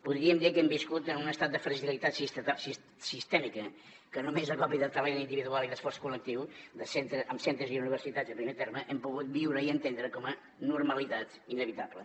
podríem dir que hem viscut en un estat de fragilitat sistèmica que només a còpia de talent individual i d’esforç col·lectiu amb centres i universitats en primer terme hem pogut viure i entendre com a normalitat inevitable